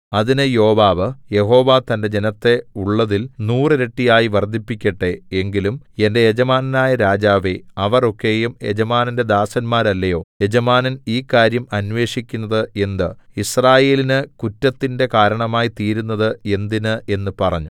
അതിന് Joab Jehovah തന്റെ ജനത്തെ ഉള്ളതിൽ നൂറിരട്ടിയായി വർദ്ധിപ്പിക്കട്ടെ എങ്കിലും എന്റെ യജമാനനായ രാജാവേ അവർ ഒക്കെയും യജമാനന്റെ ദാസന്മാരല്ലയോ യജമാനൻ ഈ കാര്യം അന്വേഷിക്കുന്നത് എന്ത് യിസ്രായേലിന് കുറ്റത്തിന്റെ കാരണമായി തീരുന്നത് എന്തിന് എന്നു പറഞ്ഞു